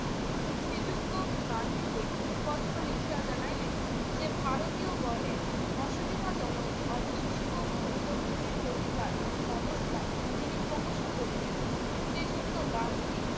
শ্রী শ্রীযুক্ত গান্ধীকে পত্র লিখিয়া জানাইলেন যে ভারতীয়গণের অসুবিধাজনক অবশিষ্ট অনুযোগগুলির প্রতিকার ব্যবস্থা তিনি ক্রমশ করিবেন। শ্রীযুক্ত গান্ধী